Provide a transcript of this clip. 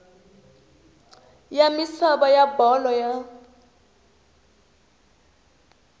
ya misava ya bolo ya